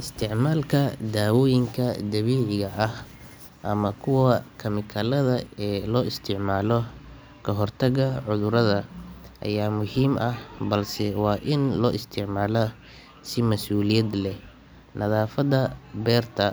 Isticmaalka daawooyinka dabiiciga ah ama kuwa kiimikada ee loo isticmaalo ka hortagga cudurrada ayaa muhiim ah, balse waa in loo isticmaalaa si masuuliyad leh. Nadaafadda beerta.